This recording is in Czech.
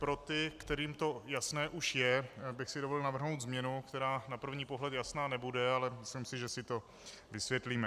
Pro ty, kterým to jasné už je, bych si dovolil navrhnout změnu, která na první pohled jasná nebude, ale myslím si, že si to vysvětlíme.